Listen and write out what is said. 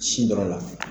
Sin dɔrɔn na